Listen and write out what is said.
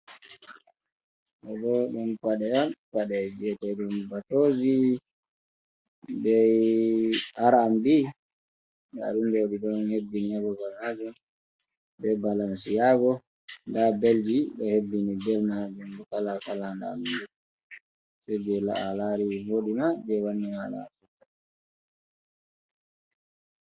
Ɗo bo ɗum paɗe on, pade mbiyete ɗum batoozi be R&B, nda ɗum ɗo ɗi ɗo hebbini ha babal shaago, be balansiago, nda belji ɗo hebbini, bel maajum bo kala-kala, nda ɗum ɗo, se jei a laari vooɗima, jei wanni maaɗa a supta.